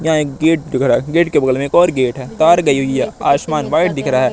यहां एक गेट खड़ा है गेट के बगल में एक और गेट है कार गई हुई है आसमान व्हाइट दिख रहा है।